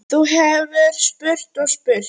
Þú hefðir spurt og spurt.